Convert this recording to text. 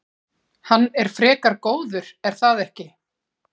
Hann er frekar góður er það ekki?